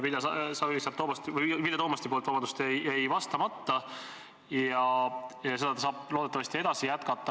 Nagu ma aru saan, jäi see eelmine Vilja Toomasti küsimus vastamata ja seda teemat ta saab loodetavasti jätkata.